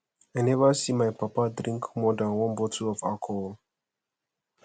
i never see my papa drink more dan one bottle of alcohol